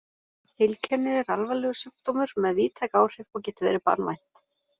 Heilkennið er alvarlegur sjúkdómur með víðtæk áhrif og getur verið banvænt.